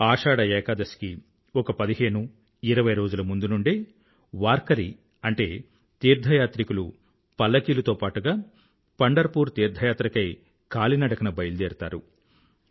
ఆషాఢ ఏకాదశి కి ఒక పదిహేను ఇరవై రోజుల ముందు నుండే వార్కరీ అంటే తీర్థయాత్రికులు పల్లకీలతో పాటుగా పండర్ పూర్ తీర్థయాత్రకై కాలి నడకన బయలుదేరుతారు